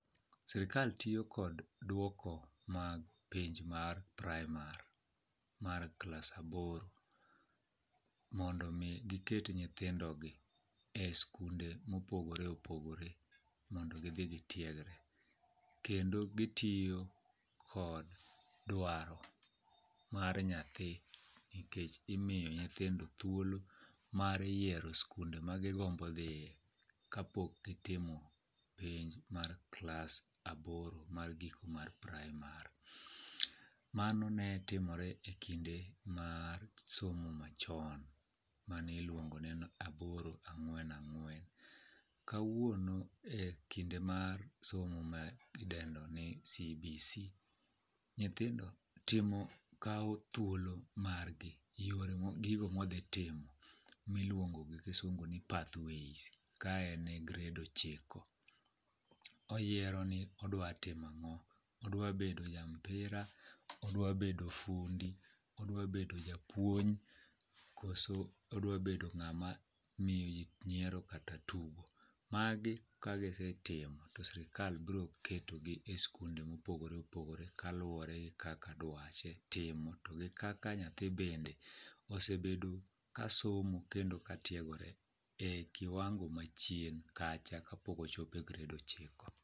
Sirikal tiyo kod dwoko mag penj mar praimar mar klas aboro mondo omi giket nyithiondogi e skunde mopogore opogore mondo gidhi gitiegre, kendo gitiyo kod dwaro mar nyathi nikech imiyo nyithindo thuolo mar yiero skunde ma gigombo dhiye kapok gitimo penj mar klas aboro mar giko mar praimar. Mano ne timore e kinde mar somo machon maniluongo ni aboro - ang'wen - ang'wen. Kawuono e kinde mar somo mar idendo ni CBC, nyithindo kawo thuolo margi gigo modhitimo miluongo gi kisungu ni pathways ka en e gred ochiko. Oyiero ni odwa timo ang'o, odwabedo ja mpira, odwabedo fundi, odwabedo japuonj koso odwabedo ng'ama miyoji nyiero kata tugo. Magi kagisetimo to sirikal bro ketogi e skunde mopogore opogore kaluwore gi kaka dwache timo to gi kaka nyathi bende osebedo ka somo kendo ka tiegore e kiwango machien kacha kapok ochopo e gred ochiko.